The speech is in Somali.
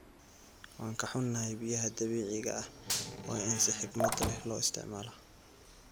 Waan ka xunahay, biyaha dabiiciga ah waa in si xikmad leh loo isticmaalo.